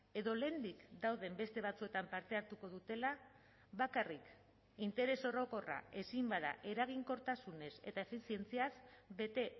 edo lehendik dauden beste batzuetan parte hartuko dutela bakarrik interes orokorra ezin bada eraginkortasunez eta efizientziaz bete